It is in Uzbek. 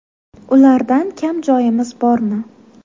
Ulardan kam joyimiz bormi?